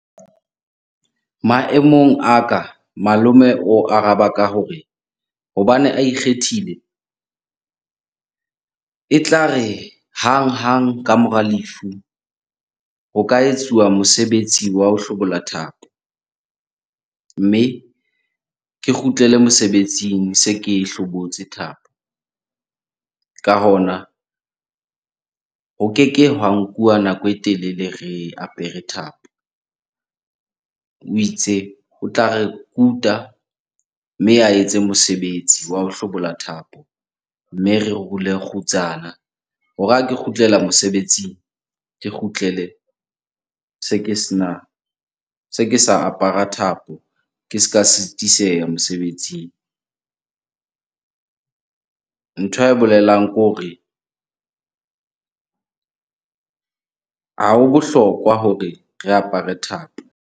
Maemong a ka malome o araba ka ho re, hobane a ikgethile. Etla re hanghang ka mora lefu, ho ka etsuwa mosebetsi wa ho hlobola thapo. Mme ke kgutlele mosebetsing se ke e hlobotse thapo. Ka hona, ho keke hwa nkuwa nako e telele re apere thapo. O itse o tla re kuta, mme a etse mosebetsi wa ho hlobola thapo. Mme re rule kgutsana hore ha ke kgutlela mosebetsing, ke kgutlele se ke sena, se ke sa apara thapo ke ska sitiseha mosebetsing. Ntho ae bolelang ke hore ha ho bohlokwa hore re apare thapo.